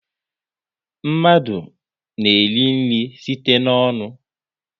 Mmadụ na-eri nri site n'ọnụ